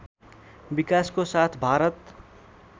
विकासको साथ भारत